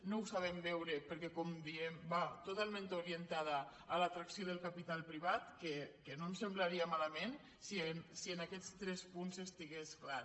no ho sabem veure perquè com diem va totalment orientada a l’atracció del capital privat que no ens semblaria malament si en aquests tres punts estigués clar